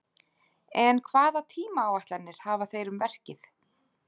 En hvaða tímaáætlanir hafa þeir um verkið?